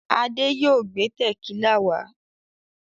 Adé yóò gbé tẹ̀kílà wá.